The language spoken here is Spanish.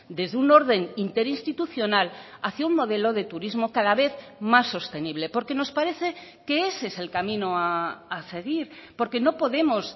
desde un orden interinstitucional hacia un modelo de turismo cada vez más sostenible porque nos parece que ese es el camino a seguir porque no podemos